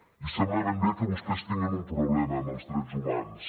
i sembla ben bé que vostès tinguin un problema amb els drets humans